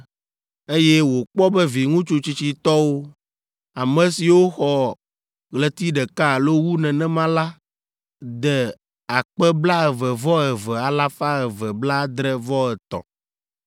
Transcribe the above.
eye wòkpɔ be viŋutsu tsitsitɔwo, ame siwo xɔ ɣleti ɖeka alo wu nenema la de akpe blaeve-vɔ-eve alafa eve blaadre-vɔ-etɔ̃ (22,273).